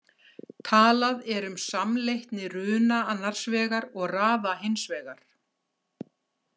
Talað er um samleitni runa annars vegar og raða hins vegar.